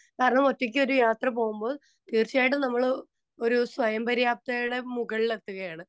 Speaker 2 കാരണം ഒറ്റയ്ക്ക് ഒരു യാത്ര പോകുമ്പോൾ തീർച്ചയായിട്ടും നമ്മള് ഒരു സ്വയംപര്യാപ്തയുടെ മുകളിൽ എത്തുകയാണ്.